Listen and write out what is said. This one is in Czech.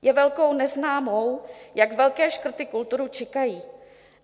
Je velkou neznámou, jak velké škrty kulturu čekají.